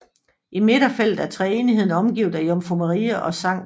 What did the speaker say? I midterfeltet er treenigheden omgivet af Jomfru Maria og Skt